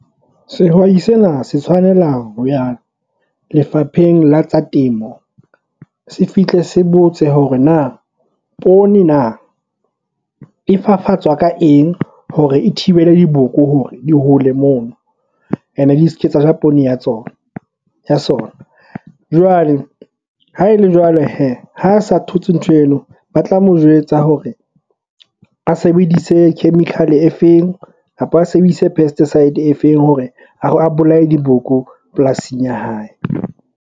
Sehwai sena se tshwanela ho ya Lefapheng la tsa Temo se fihle se botse hore na poone na e fafatsa ka eng hore e thibele diboko hore di hole mona and e di se ke tsa ja poone ya tsona ya sona. Jwale ha e le jwale hee ha a sa thotse ntho eno, ba tla mo jwetsa hore a sebedise chemical e feng a ba a sebedise pesticide e feng hore a bolaya diboko polasing ya hae.